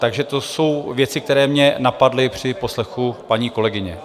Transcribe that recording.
Takže to jsou věci, které mě napadly při poslechu paní kolegyně.